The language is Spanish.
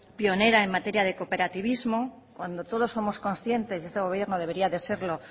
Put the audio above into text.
pionera en materia de cooperativismo cuando todos somos conscientes y este gobierno debería de serlo